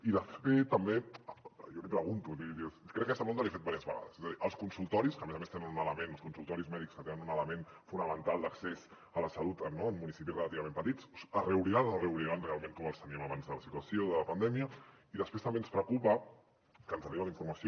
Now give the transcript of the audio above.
i de fet també jo li pregunto crec que aquesta pregunta li he fet diverses vegades és a dir els consultoris que a més a més tenen un element els consultoris mèdics que tenen un element fonamental d’accés a la salut no en municipis relativament petits es reobriran o no es reobriran realment com els teníem abans de la situació de la pandèmia i després també ens preocupa que ens arriba la informació